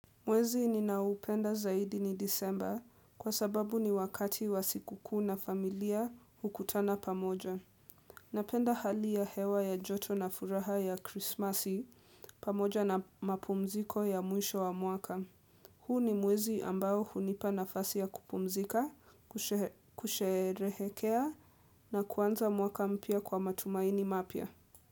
Mwezi ninaoupenda zaidi ni disemba kwa sababu ni wakati wa sikukuu na familia hukutana pamoja. Napenda hali ya hewa ya joto na furaha ya krismasi pamoja na mapumziko ya mwisho wa mwaka. Huu ni mwezi ambao hunipa nafasi ya kupumzika, kushehe kusheherehekea na kuanza mwaka mpya kwa matumaini mapya.